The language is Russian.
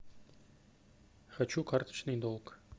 хочу карточный долг